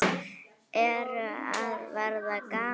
Ertu að verða gamall?